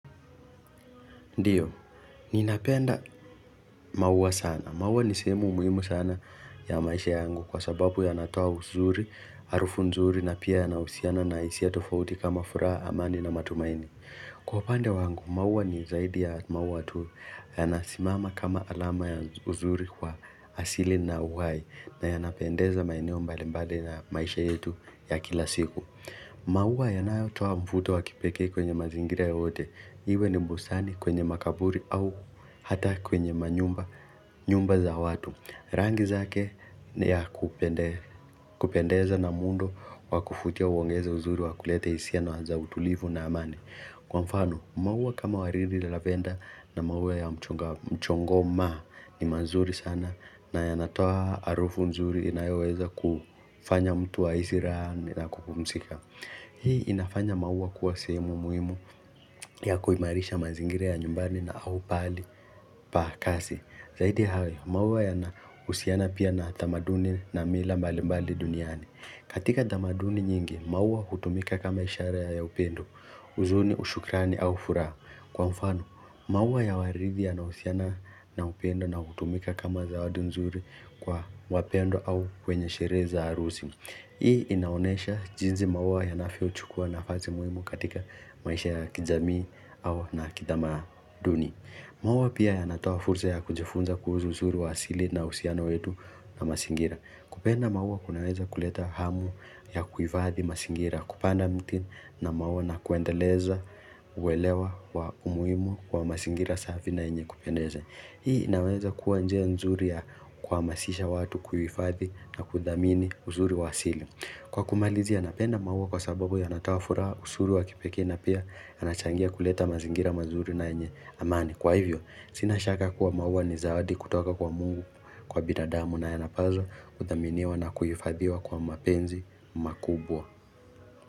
Ndiyo, ninapenda mauwa sana. Mauwa ni sehemu muhimu sana ya maisha yangu kwa sababu yanatoa uzuri, harufu nzuri na pia yanahusiana na hisia tofauti kama furaha amani na matumaini. Kwa upande wangu, mauwa ni zaidi ya mauwa tu yanasimama kama alama ya uzuri kwa asili na uhai na yanapendeza maeneo mbalimbade na maisha yetu ya kila siku. Mauwa yanayotoa mvuto wa kipekee kwenye mazingira yoyote Iwe ni bustani kwenye makaburi au hata kwenye manyumba za watu Rangi zake ni ya kupendeza na muundo wa kuvutia huongeza uzuri wa kulete hisia za utulivu na amani Kwa mfano, mauwa kama waridi na lavenda na mauwa ya mchongoma ni mazuri sana na yanatoa harufu nzuri inayeweza kufanya mtu ahisi raha na kukumsika Hii inafanya maua kuwa sehemu muhimu ya kuimarisha mazingira ya nyumbani na au pahali pa kazi Zaidi ya hayo maua yanahusiana pia na tamaduni na mila mbali mbali duniani katika tamaduni nyingi maua hutumika kama ishara ya upendo huzuni ushukrani au furaha kwa mfano Mauwa ya waridi yanahusiana na upendo na hutumika kama zawadi nzuri kwa wapendwa au kwenye sherehe za harusi. Hii inaonesha jinsi mauwa yanavyochukua nafasi muhimu katika maisha ya kijamii au na kitamaduni. Mauwa pia yanataa fursa ya kujifunza kuhsu uzuru wa asili na uhusiana wetu na mazingira. Kupenda maua kunaweza kuleta hamu ya kuhifadhi mazingira kupanda miti na maua na kuendeleza uwelewa wa umuhimu wa mazingira safi na yenye kupendeza. Hii inaweza kuwa njia nzuri ya kuhamasisha watu kuhifadhi na kudhamini uzuri wa asili. Kwa kumalizia napenda maua kwa sababu yanatoa furaha uzuri wa kipekee na pia yanachangia kuleta mazingira mazuri na yenye amani. Kwa hivyo, sina shaka kuwa mauwa ni zawadi kutoka kwa mungu kwa bidadamu na yanapaswa kuthaminiwa na kuhifadhiwa kwa mapenzi makubwa.